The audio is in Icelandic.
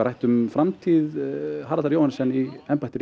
rætt um framtíð Haraldar Johannessen í embætti